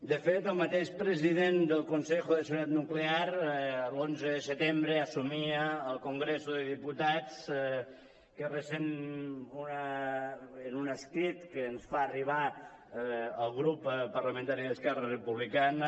de fet el mateix president del consejo de seguridad nuclear l’onze de setembre assumia al congreso dels diputats en un escrit que ens fa arribar al grup parlamentari d’esquerra republicana